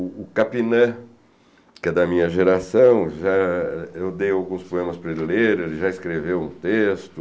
O Capinã, que é da minha geração, eu dei alguns poemas para ele ler, ele já escreveu um texto,